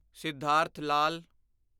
Siddhartha Lal